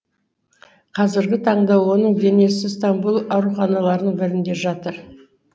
қазіргі таңда оның денесі стамбул ауруханаларының бірінде жатыр